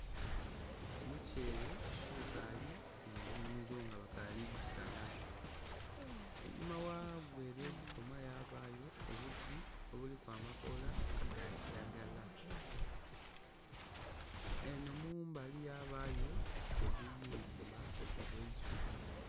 Omukyere ogukali munhimiro ngabakali gusala einhuma ghagwo ere yegukoma yabayo obuti obuliku amakola agakyiragala enhomumbali yabayo obuyumba obwe isubi